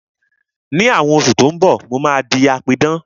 Ní àwọn oṣù tí ó ń bọ̀, mo máa di apidán